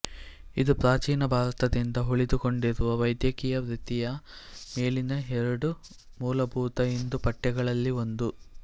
ಇದು ಪ್ರಾಚೀನ ಭಾರತದಿಂದ ಉಳಿದುಕೊಂಡಿರುವ ವೈದ್ಯಕೀಯ ವೃತ್ತಿಯ ಮೇಲಿನ ಎರಡು ಮೂಲಭೂತ ಹಿಂದೂ ಪಠ್ಯಗಳಲ್ಲಿ ಒಂದು